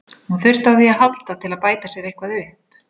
Hún þurfti á því að halda til að bæta sér eitthvað upp.